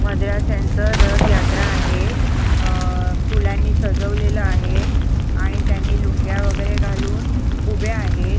रथ यात्रा आहे अह फुलांनी सजवलेलं आहे आणि त्यांनी लुंग्या वगैरे घालून उभे आहेत.